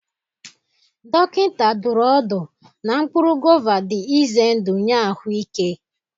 Dọkịta dụrụ ọdụ na mkpụrụ gova dị ize ndụ nye ahụike.